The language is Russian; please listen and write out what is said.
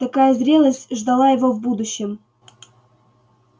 такая зрелость ждала его в будущем